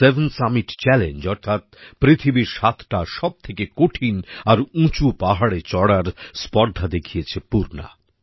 seven summit challenge অর্থাৎ পৃথিবীর সাতটা সবথেকে কঠিন আর উঁচু পাহাড়ে চড়ার স্পর্ধা দেখিয়েছে পূর্ণা